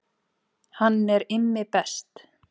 Hann er Immi best